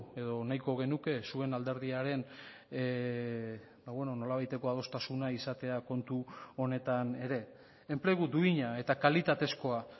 edo nahiko genuke zuen alderdiaren nolabaiteko adostasuna izatea kontu honetan ere enplegu duina eta kalitatezkoa